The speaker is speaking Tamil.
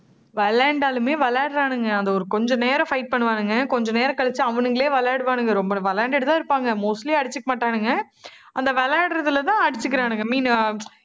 விளையாண்டாலுமே விளையாடுறானுங்க. அதை ஒரு கொஞ்ச நேரம் fight பண்ணுவானுங்க. கொஞ்ச நேரம் கழிச்சு, அவனுங்களே விளையாடுவானுங்க. ரொம்ப நம்ம விளையாண்டுட்டுதான் தான் இருப்பாங்க. mostly அடிச்சுக்க மாட்டானுங்க. அந்த விளையாடுறதுலதான் அடிச்சுக்கிறானுங்க.